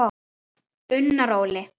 Unnar Óli.